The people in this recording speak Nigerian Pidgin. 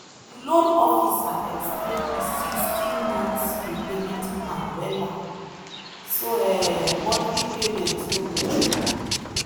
the loan officer explain the sixty month repayment plan wella so um monthly payment no go choke.